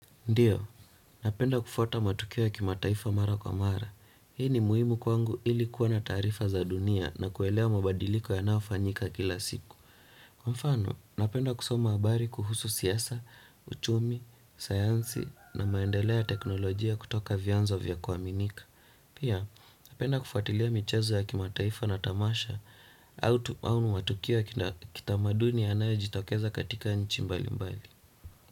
Ndiyo, napenda kufuata matukio ya kimataifa mara kwa mara. Hii ni muhimu kwangu ili kuwa na taarifa za dunia na kuelewa mabadiliko yanayofanyika kila siku. Kwa mfano, napenda kusoma habari kuhusu siasa, uchumi, sayansi na maendeleo ya teknolojia kutoka vianzo vya kuaminika. Pia, napenda kufutilia michezo ya kimataifa na tamasha au matukio kitamaduni yanayojitokeza katika nchi mbali mbali.